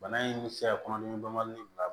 Bana in bɛ se ka kɔnɔdimi banbali bila